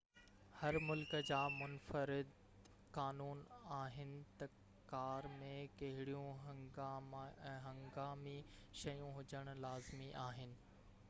هر ملڪ جا منفرد قانون آهن ته ڪار ۾ ڪهڙيون هنگامي شيون هجڻ لازمي آهن